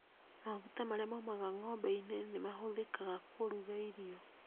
Maguta marĩa maumaga ng'ombe -inĩ nĩ mahũthĩkaga kũrũga irio.